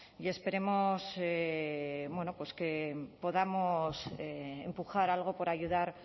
y esperemos bueno pues que podamos empujar algo por ayudar